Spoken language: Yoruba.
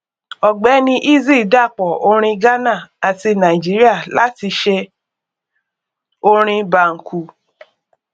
ọgbẹni eazi dàpọ orin ghánà àti nàìjíríà láti ṣe orin banku